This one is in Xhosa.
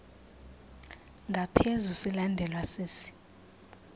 ngaphezu silandelwa sisi